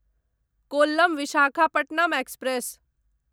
Kollam Visakhapatnam express